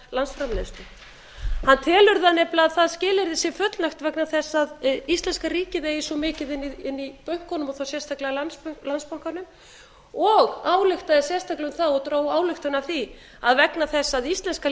landsframleiðslu hann telur nefnilega að því skilyrði sé fullnægt vegna þess að íslenska ríkið eigi svo mikið inni í bönkunum og þá sérstaklega landsbankanum og ályktaði sérstaklega um það og dró ályktun af því að vegna þess að íslenska